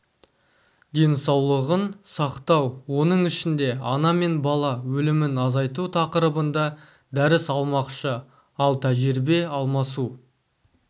денсаулығын сақтау оның ішінде ана мен бала өлімін азайту тақырыбында дәріс алмақшы ал тәжірибе алмасу